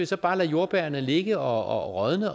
så bare lade jordbærrene ligge og rådne